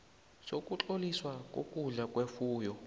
sokutloliswa kokudla kwefuyo